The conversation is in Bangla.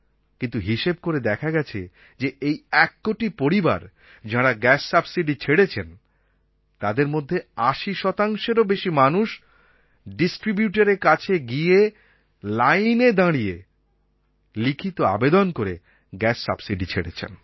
কিন্তু হিসেব করে দেখা গেছে যে এই এক কোটি পরিবার যাঁরা গ্যাস সাবসিডি ছেড়েছেন তাদের মধ্যে ৮০ শতাংশেরও বেশি মানুষ ডিস্ট্রিবিউটরের কাছে গিয়ে লাইনে দাঁড়িয়ে থেকে লিখিত আবেদন করে গ্যাস সাবসিডি ছেড়েছেন